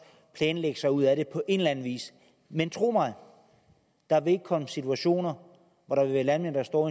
planlægge sig ud af det på en eller anden vis men tro mig der vil komme situationer hvor der vil være landmænd der står